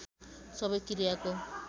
सबै क्रियाको